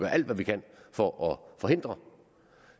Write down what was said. alt hvad vi kan for forhindre